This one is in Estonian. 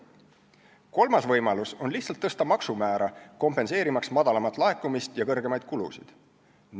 Kolmas võimalus on lihtsalt tõsta maksumäära, kompenseerimaks väiksemat laekumist ja suuremaid kulusid.